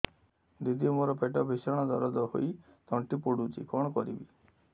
ଦିଦି ମୋର ପେଟ ଭୀଷଣ ଦରଜ ହୋଇ ତଣ୍ଟି ପୋଡୁଛି କଣ କରିବି